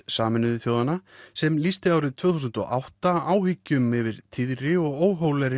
Sameinuðu þjóðanna sem lýsti árið tvö þúsund og átta áhyggjum yfir tíðri og óhóflegri